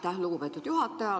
Aitäh, lugupeetud juhataja!